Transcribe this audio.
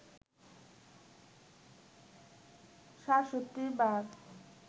৬৭ বার